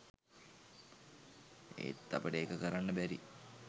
ඒත් අපට ඒක කරන්න බැරි